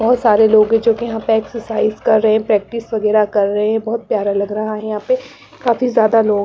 बहुत सारे लोग हैं जो कि यहाँ पे एक्सरसाइज कर रहे हैं प्रैक्टिस वगैरह कर रहे हैं बहुत प्यारा लग रहा है यहाँ पे काफ़ी ज्यादा लोग --